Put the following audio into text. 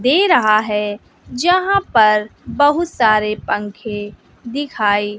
दे रहा है जहां पर बहुत सारे पंखे दिखाई--